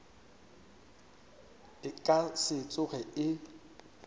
e ka se tsoge e